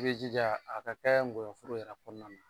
I be jija a ka kɛ nkɔyɔ foro yɛrɛ kɔɔna na.